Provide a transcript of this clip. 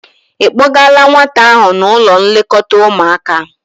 Ị kpọgala nwata ahụ n'ụlọ nlekọta ụmụaka?